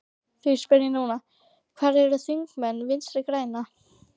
Því spyr ég núna, hvar eru þingmenn Vinstri grænna?